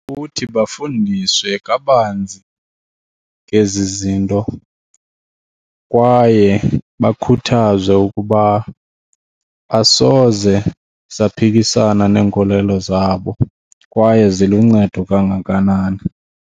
Kuthi bafundiswe kabanzi ngezi zinto kwaye bakhuthazwe ukuba asoze saphikisana neenkolelo zabo kwaye ziluncedo kangakanani.